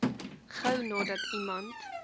gou nadat iemand